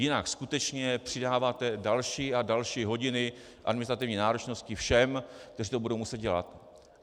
Jinak skutečně přidáváte další a další hodiny administrativní náročnosti všem, kteří to budou muset dělat.